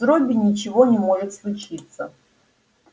с робби ничего не может случиться